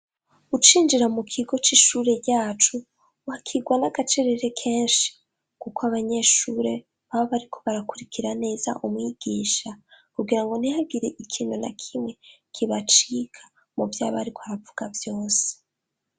Ucinjira mu kigo c'ishure ryacu wakigwa n'agacerere kenshi kuko abanyeshure baba bariko barakurikira neza umwigisha, kugira ngo ntihagiriye ikintu na kimwe kibacika muvyo aba ariko aravuga vyose.